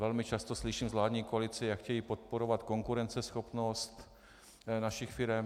Velmi často slyším z vládní koalice, jak chtějí podporovat konkurenceschopnost našich firem.